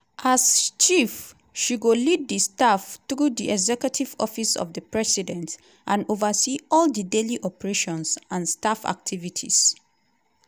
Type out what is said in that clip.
as chief she go lead di staff through di executive office of di president and oversee all di daily operations and staff activities.